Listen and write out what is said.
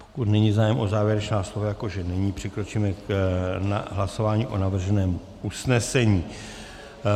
Pokud není zájem o závěrečná slova, jako že není, přikročíme k hlasování o navrženém usnesení.